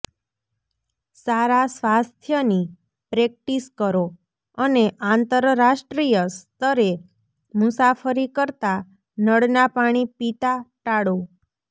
સારા સ્વાસ્થ્યની પ્રેક્ટિસ કરો અને આંતરરાષ્ટ્રીય સ્તરે મુસાફરી કરતા નળના પાણી પીતા ટાળો